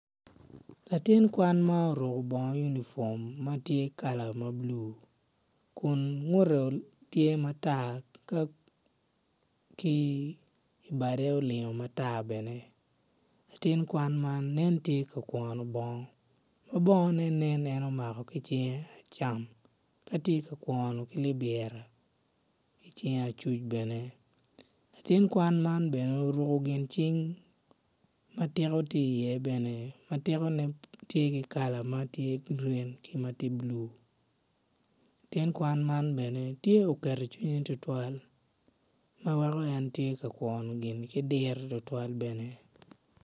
Latin kwan ma oruko bongo yunifom ma tye kala ma bulu kun ngute tye matar bade olingo matar bene latin kwan man nen tye ka kwono bongo ma bongone nen omako ki cinge acam ka tye ka kwono ko libira ki cinge acuc bene latin man bene oruko gin cing ma tiko tye iye bene ma tikone tye ki kala ma tye grin ki ma tye bulu latin man bene tye oketo cinye tutwal ma weko en tye ka kwono gini ki diro tutwal bene.